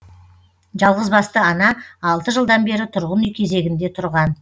жалғызбасты ана алты жылдан бері тұрғын үй кезегінде тұрған